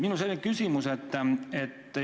Minul on selline küsimus.